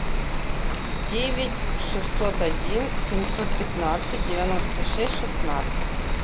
девять шестьсот один семьсот пятнадцать девяносто шесть шестнадцать